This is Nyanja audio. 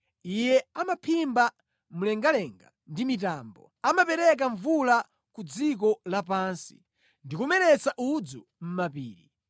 Iye amaphimba mlengalenga ndi mitambo; amapereka mvula ku dziko lapansi ndi kumeretsa udzu mʼmapiri.